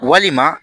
Walima